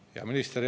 Hea minister!